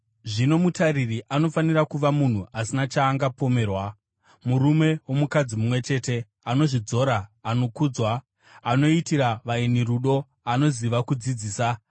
Zvino mutariri anofanira kuva munhu asina chaangapomerwa, murume womukadzi mumwe chete, anozvidzora, anokudzwa, anoitira vaeni rudo, anoziva kudzidzisa,